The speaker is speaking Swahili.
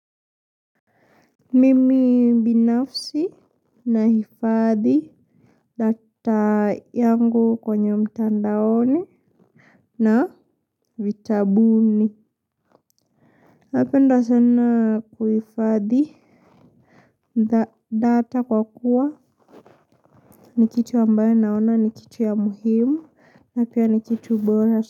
Mimi binafsi nahifadhi data yangu kwenye mtandaoni na vitabuni. Napenda sana kuhifadhi data kwa kuwa ni kitu ambayo naona ni kitu ya muhimu na pia ni kitu bora.